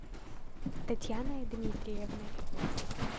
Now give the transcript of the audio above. татьяной дмитриевной